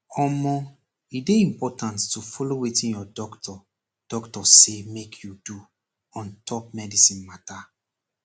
omoh e dey important to follow wetin your doctor doctor say make you do ontop medicine mata